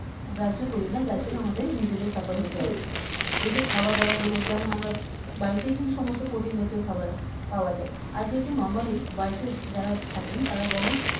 গ্রাহ্য করি না যারজন্যে আমাদের নিজেদের suffer হতে হয় এইযে খাওয়া দাওয়া গুলো যেমন আমরা বাড়িতেই কিন্তু সমস্ত প্ৰটিন জাতীয় খাবার পাওয়া যায় আর দেখবেন normally বাড়িতে যারা থাকেন তারা বলেন